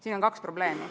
Siin on kaks probleemi.